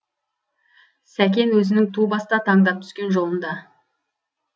сәкен өзінің ту баста таңдап түскен жолында